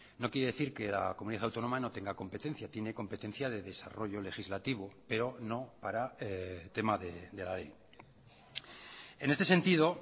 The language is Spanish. no quiere decir que la comunidad autónoma no tenga competencia tiene competencia de desarrollo legislativo pero no para tema de la ley en este sentido